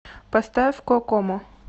поставь кокомо